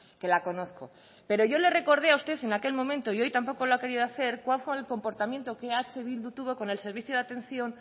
que la conozco pero yo le recordé a usted en aquel momento y hoy tampoco lo ha querido hacer cuál fue el comportamiento que eh bildu tuvo con el servicio de atención